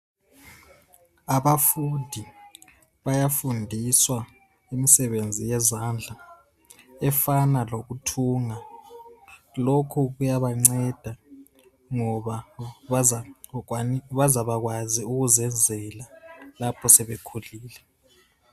Abafundi bayafundiswa imsebenzi yezandla efana lokuthunga. Lokhu kuyabanceda ngoba bazabakwazi ukuzenzela lapho sebekhulile.